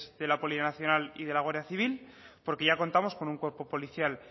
de la poli nacional y de la guardia civil porque ya contamos con un cuerpo policial